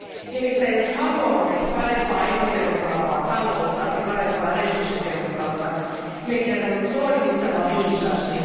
Nimittäin jos haluamme parempaa ja ekotehokkaampaa taloutta ja parempaa resurssitehokkuutta, meidän on toimittava viisaasti.